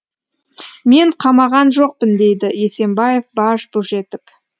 мен қамаған жоқпын дейді есенбаев баж бұж етіп